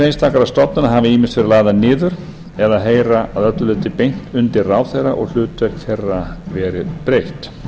einstakra stofnana hafa ýmist verið lagðar niður eða heyra að öllu leyti beint undir ráðherra og hlutverk þeirra verið breytt